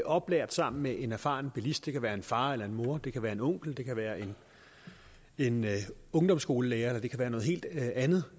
oplært sammen med en erfaren bilist det kan være en far eller en mor det kan være en onkel det kan være en ungdomsskolelærer eller det kan være noget helt andet